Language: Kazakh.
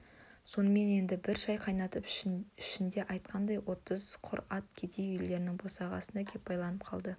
сонымен енді бір шай қайнатып ішінде айтқанындай отыз құр ат кедей үйлерінің босағасына кеп байланып қалды